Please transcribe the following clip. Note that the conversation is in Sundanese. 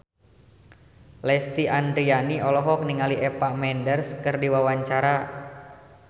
Lesti Andryani olohok ningali Eva Mendes keur diwawancara